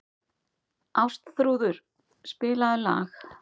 Ástþrúður, spilaðu lag.